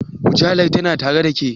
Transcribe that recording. Mujallar tana tare ɗa ke?